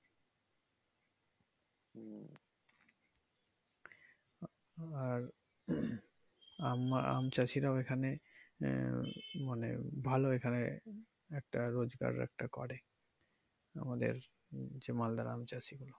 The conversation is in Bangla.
আর আম চাষীরাও এখানে আহ মানে ভালো এখানে একটা রোজগার একটা করে আমাদের হচ্ছে মালদার আম চাষীরা।